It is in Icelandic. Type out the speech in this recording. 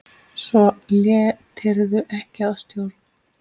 Svo létirðu ekki að stjórn.